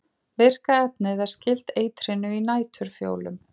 Virka efnið er skylt eitrinu í næturfjólum.